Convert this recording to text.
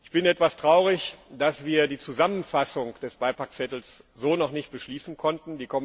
Ich bin etwas traurig, dass wir die Zusammenfassung des Beipackzettels so noch nicht beschließen konnten.